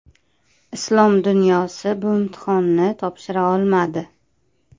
Islom dunyosi bu imtihonni topshira olmadi.